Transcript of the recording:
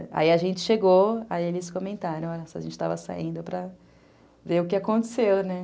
Aí a gente chegou, aí eles comentaram, nossa, a gente estava saindo para ver o que aconteceu, né?